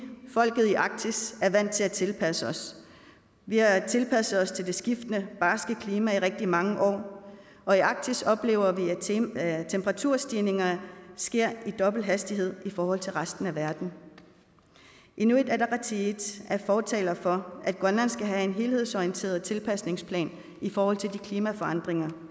folket i arktis er vant til at tilpasse os vi har tilpasset os til det skiftende barske klima i rigtig mange år og i arktis oplever vi at temperaturstigningerne sker med dobbelt hastighed i forhold til resten af verden inuit ataqatigiit er fortaler for at grønland skal have en helhedsorienteret tilpasningsplan i forhold til de klimaforandringer